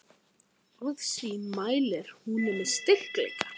Orð sín mælir hún með styrkleika.